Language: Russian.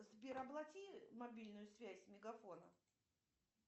сбер оплати мобильную связь мегафона